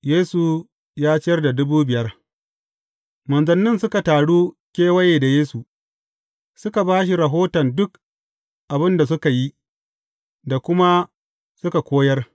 Yesu ya ciyar da dubu biyar Manzannin suka taru kewaye da Yesu, suka ba shi rahoton duk abin da suka yi, da kuma suka koyar.